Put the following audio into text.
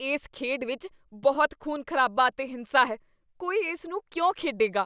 ਇਸ ਖੇਡ ਵਿੱਚ ਬਹੁਤ ਖ਼ੂਨ ਖ਼ਰਾਬਾ ਅਤੇ ਹਿੰਸਾ ਹੈ। ਕੋਈ ਇਸ ਨੂੰ ਕਿਉਂ ਖੇਡੇਗਾ?